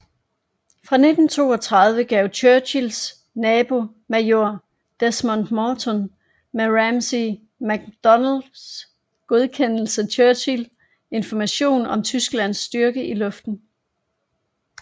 Fra 1932 gav Churchills nabo major Desmond Morton med Ramsay MacDonalds godkendelse Churchill information om Tysklands styrke i luften